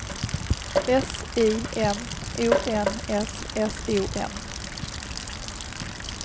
S I M O N S S O N